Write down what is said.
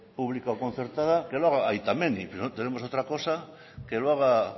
pública o concertada que lo haga aita menni no tenemos otra cosa que lo haga